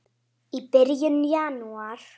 í byrjun janúar.